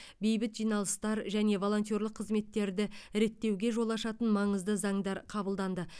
бейбіт жиналыстар және волонтерлік қызметтерді реттеуге жол ашатын маңызды заңдар қабылданды